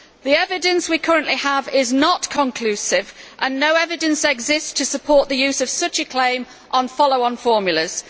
The evidence we currently have is not conclusive and no evidence exists to support the use of such a claim on follow on formulas.